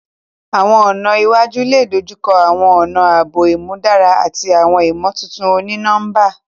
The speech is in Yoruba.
Awọn ọna iwaju le dojukọ awọn ọna aabo imudara ati awọn imotuntun oni-nọmba.